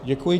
Děkuji.